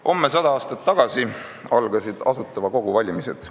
Homme 100 aastat tagasi algasid Asutava Kogu valimised.